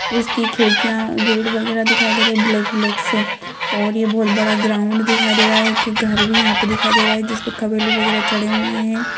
उसकी खिड़कियाँ गेट वगेरा दिखाई दे रहे ब्लैक ब्लैक से और यह बहुत बड़ा ग्राउंड दिखाई दे रहा है एक घर भी यहाँ पे दिखाई दे रहा है जिसपे कवेलू वगेरा चडे हुए है।